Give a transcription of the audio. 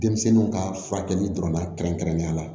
Denmisɛnninw ka furakɛli dɔrɔn na kɛrɛnkɛrɛnnenya la